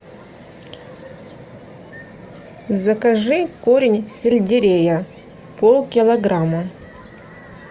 закажи корень сельдерея пол килограмма